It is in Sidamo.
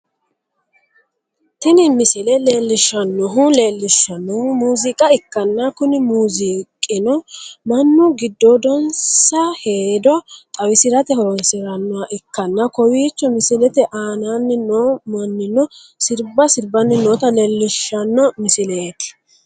Tini misile leellishshannohu leellishshannohu muuziiqa ikkanna kuni muuziiqino mannu giddoodinsa hedo xawisirate horonsi'rannoha ikkanna, kowiicho misilete aananni noo mannino sirba sirbanni noota leellishshanno misileeti.